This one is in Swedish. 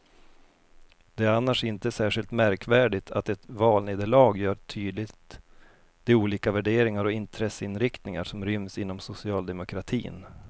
Det är annars inte särskilt märkvärdigt att ett valnederlag gör tydligt de olika värderingar och intresseinriktningar som ryms inom socialdemokratin.